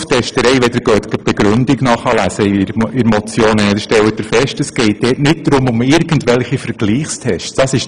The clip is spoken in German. Zur Testerei: Wenn Sie die Begründung der Motion lesen, dann stellen Sie fest, dass es hierbei nicht um irgendwelche Vergleichstests geht.